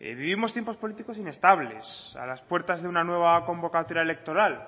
vivimos tiempos políticos inestables a las puertas de una nueva convocatoria electoral